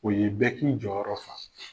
O ye bɛɛ k'i jɔyɔrɔ fa